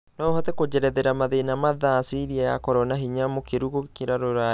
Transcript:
no ũhote kũjerethera mathĩna mathaa Syria yakorwo na hinya mũkĩru gũkĩra rũraya